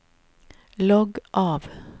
logg av